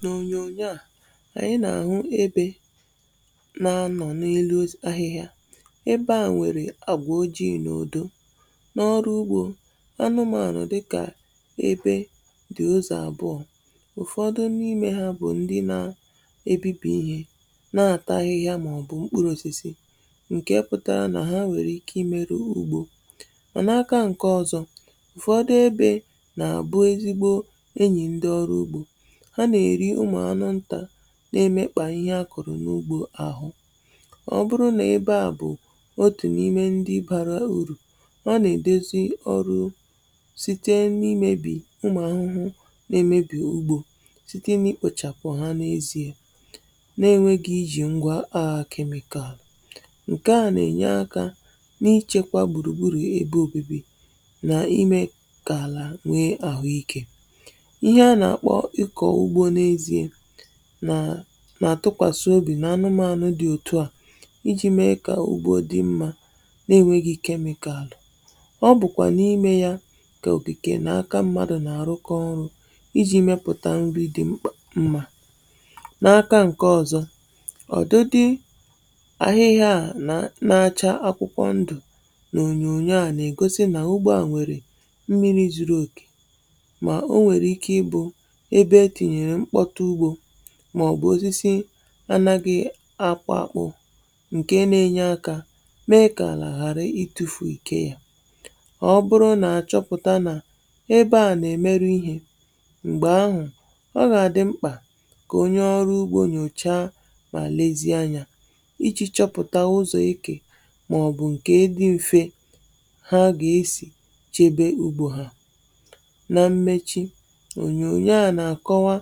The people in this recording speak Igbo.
N'onyonyo a, anyị nà-àhụ ebe na-anọ n'elu ahịhịa. Ebe a nwèrè agwa ojii n'udo. N'ọrụ ugbȯ, anụmanụ dịkà ebe di ọzọ àbụọ. Ụfọdụ n'ime ha bụ̀ ndi na ebibi ihe, na-ata ahịhịa màọbụ̀ mkpụrụ osisi, ǹkè pụtara nà ha nwèrè ike ị merụ ugbȯ. Mà n’aka ǹkè ọzọ̇, ụfọdụ ebe nà-àbụ ezigbo enyi ndị ọrụ ugbȯ, ha nà-eri ụmụ anụ nta na-emekpa ihe a kụ̀rụ̀ n’ugbȯ ahụ. Ọ bụrụ nà ebe à bụ̀ otù n’ime ndi barà urù, ha nà-èdozi ọrụ site n’imėbì umù ahụhụ nà-emebì ugbȯ site n’ikpȯchàpụ̀ ha nà-ezìe nà-enwėghi̇ i jì ngwà aghà chemical. Nkèa nà-ènye akȧ n’ịchekwa gbùrùgburù ebe òbibi nà imėkà àlà nwee àhụ ikė. Ihe a na-akpọ ịkọ ugbo n'ezie nà àtụkwàsị obì n' anụmanụ̇ dị̀ òtù à, i ji̇ mee kà ugbȯ dị mma nà-eǹwegi̇ chemical. Ọ bụ̀kwà n’imė yȧ kà òkìke nà aka mmadụ̀ nà àrụkọ ọrụ̇ i ji̇ mepụ̀ta mri dị̀ mkpà mma. N'aka ǹke ọ̀zọ, ọ̀dịdị àhịhịa à nà achȧ akwụkwọ ndụ̀ nà ònyònyo à nà ègosi nà ugbo à nwèrè mmiri̇ zuru òkè, mà o nwèrè ike ịbụ ebe tinyere mkpọrụ ugbo màọ̀bụ̀ osisi anaghị akwȧ kpụ̇ ǹke na-enye akȧ mee kà àlà ghàrị itu̇fù ìke yȧ. Ọ bụrụ nà àchọpụ̀ta nà ebe à nà-èmerụ ihė, m̀gbè ahụ̀, ọ gà-àdị mkpà kà onye ọrụ ugbȯ nyòchaa mà lezie anyȧ i ji̇ chọpụ̀ta ụzọ̀ ikė màọ̀bụ̀ ǹkè dị m̀fe ha gà-esì chebe ugbȯ hȧ. Na mmechi ònyònyo a nà-àkọwa